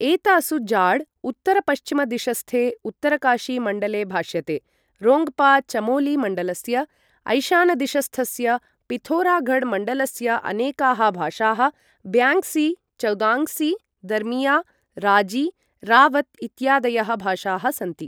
एतासु जाड् उत्तरपश्चिमदिशस्थे उत्तरकाशी मण्डले भाष्यते, रोङ्ग्पा चमोली मण्डलस्य, ऐशानदिशस्थस्य पिथौरागढ् मण्डलस्य अनेकाः भाषाः, ब्याङ्ग्सी, चौदाङ्ग्सी, दर्मिया, राजी, रावत् इत्यादयः भाषाः सन्ति।